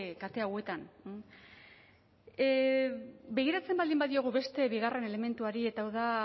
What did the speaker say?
kate hauetan begiratzen baldin badiogu beste bigarren elementuari eta hau da